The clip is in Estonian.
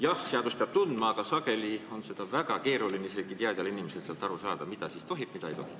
Jah, seadust peab tundma, aga sageli on väga keeruline isegi teadjal inimesel aru saada, mida siis tohib ja mida ei tohi.